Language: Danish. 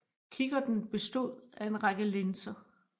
Kikkerten bestod af en række linser